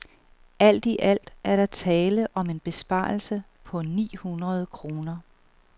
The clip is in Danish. Alt i alt er der tale om en besparelse på ni hundrede kroner.